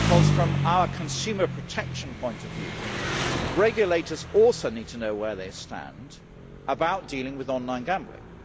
From a consumer protection point of view, regulators also need to know where they stand about dealing with online gambling.